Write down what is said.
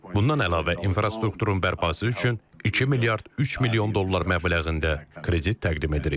Bundan əlavə, infrastrukturun bərpası üçün 2 milyard 3 milyon dollar məbləğində kredit təqdim edirik.